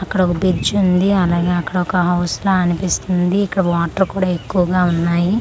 అక్కడ ఒ బ్రిడ్జి ఉంది అలాగే అక్కడ ఒక హౌస్ లా అనిపిస్తుంది ఇక్కడ వాటర్ కూడా ఎక్కువగా ఉన్నాయి.